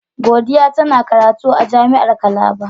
Godiya tana karatu a jami'ar Calabar.